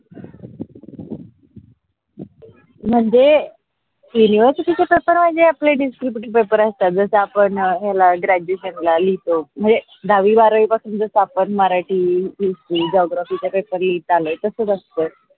म्हनजे university च paper म्हनजे आपल्या distributive पेपर असतात जस आपण याला graduation ला लिहितो म्हनजे दहावी बारावी पासुन जस आपन मराठी, हिंदी, geography पेपर लिहीत आलो तसच असत.